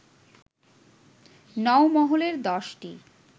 নওমহলের দশটি